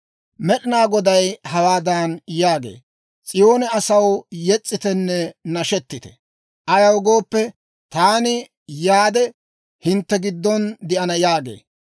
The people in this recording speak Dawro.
Med'ina Goday hawaadan yaagee; «S'iyoone asaw, yes's'itenne nashetite! Ayaw gooppe, taani yaade hintte giddon de'ana» yaagee.